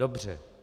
Dobře.